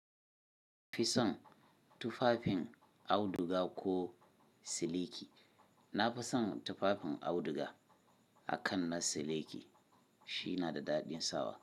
Fison tufafin auduga ko seleki. Na fi son tufafin auduga akan na seleki shina da daɗin sawa.